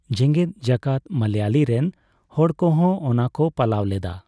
ᱡᱮᱜᱮᱫ ᱡᱟᱠᱟᱛ ᱢᱟᱞᱚᱭᱟᱞᱤ ᱨᱮᱱ ᱦᱚᱲᱠᱚᱦᱚ ᱳᱱᱟ ᱠᱚ ᱯᱟᱞᱟᱣ ᱞᱮᱫᱟ ᱾